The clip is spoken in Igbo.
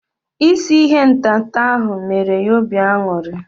Isi ihe ntata ahu mere ya obi aṅụrị